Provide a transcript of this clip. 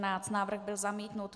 Návrh byl zamítnut.